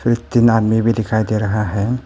तीन आदमी भी दिखाई दे रहा है।